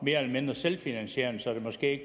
mere eller mindre selvfinansierende så det måske ikke